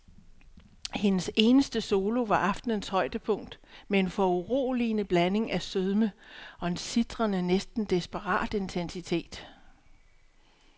Hendes eneste solo var aftenens højdepunkt med en foruroligende blanding af sødme og en sitrende, næsten desperat intensitet.